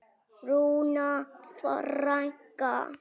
Rúna frænka.